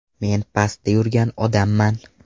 Men pastda yurgan odamman.